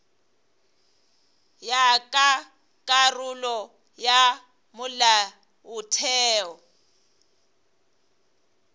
ya ka karolo ya molaotheo